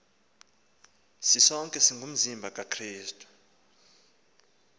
sisonke singumzimba kakrestu